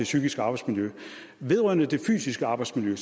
psykiske arbejdsmiljø vedrørende det fysiske arbejdsmiljø